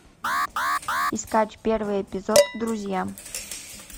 искать первый эпизод друзья